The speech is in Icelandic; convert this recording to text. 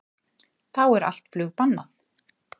Þá er allt flug bannað